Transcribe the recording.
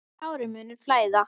Tárin munu flæða.